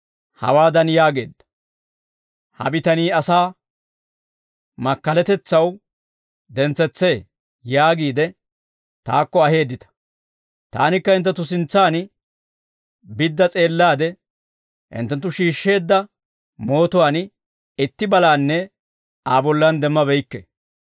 Hawaadan yaageedda, « ‹Ha bitanii asaa makkalatetsaw dentsetsee›, yaagiide taakko aheeddita; taanikka hinttenttu sintsaan bidda s'eellaade, hinttenttu shiishsheedda mootuwaan itti balaanne Aa bollan demmabeykke.